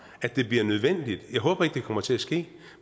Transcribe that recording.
at det bliver nødvendigt jeg håber ikke det kommer til at ske